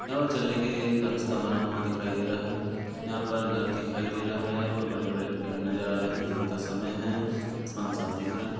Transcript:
यहाँ पर चलने के लिए रास्ता बना हुआ दिखाई दे रहा है यहाँ पर घर दिखाई दे रहा है यहाँ पर बड़े बड़े पेड़ नजर आ रहा है दिन का समय है आसमान साफ़ दिख रहा है।